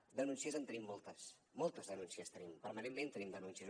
de denúncies en tenim moltes moltes denúncies en tenim permanentment tenim denúncies